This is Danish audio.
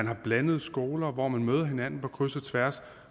er blandede skoler hvor man møder hinanden på kryds og tværs